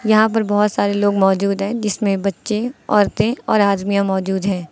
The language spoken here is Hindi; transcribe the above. यहां पर बहोत सारे लोग मौजूद हैं जिसमें बच्चे औरतें और आदमियां मौजूद हैं।